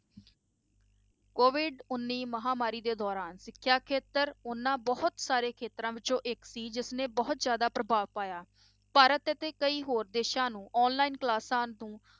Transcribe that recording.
COVID ਉੱਨੀ ਮਹਾਂਮਾਰੀ ਦੇ ਦੌਰਾਨ ਸਿੱਖਿਆ ਖੇਤਰ ਉਹਨਾਂ ਬਹੁਤ ਸਾਰੇ ਖੇਤਰਾਂ ਵਿੱਚੋਂ ਇੱਕ ਸੀ ਜਿਸਨੇ ਬਹੁਤ ਜ਼ਿਆਦਾ ਪ੍ਰਭਾਵ ਪਾਇਆ, ਭਾਰਤ ਅਤੇ ਕਈ ਹੋਰ ਦੇਸਾਂ ਨੂੰ online classes ਨੂੰ